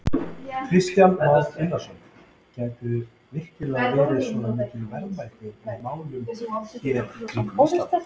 Kristján Már Unnarsson: Gætu virkilega verið svona mikil verðmæti í málmum hér í kringum Ísland?